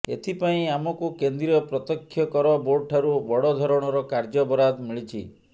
ଏଥିପାଇଁ ଆମକୁ କେନ୍ଦ୍ରୀୟ ପ୍ରତ୍ୟକ୍ଷ କର ବୋର୍ଡଠାରୁ ବଡ଼ ଧରଣର କାର୍ଯ୍ୟ ବରାଦ ମିଳିିଛି